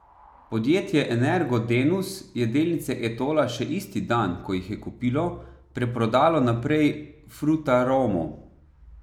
Podjetje Energo Denus je delnice Etola še isti dan, ko jih je kupilo, preprodalo naprej Frutaromu.